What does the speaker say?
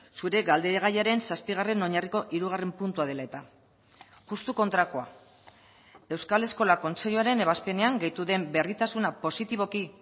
zure galdegaiaren zazpigarren oinarriko hirugarren puntua dela eta justu kontrakoa euskal eskola kontseiluaren ebazpenean gehitu den berritasuna positiboki